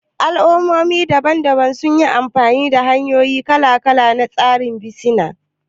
Al'ummomi daban-daban sun yi amfani da hanyoyi kala-kala na tsarin bisina